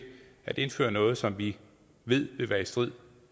at indføre noget som vi ved vil være i strid